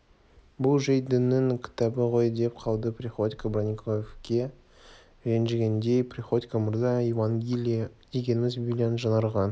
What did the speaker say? бұл жөйт дінінің кітабы ғой деп қалды приходько бронниковке ренжігендей приходько мырза евангелие дегеніміз библияның жаңарған